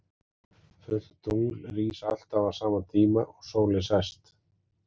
Fullt tungl rís alltaf á sama tíma og sólin sest.